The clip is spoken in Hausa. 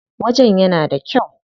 Wajen yana da kyau.